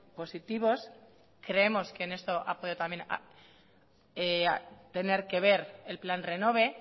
positivos creemos que en esto ha podido también tener que ver el plan renove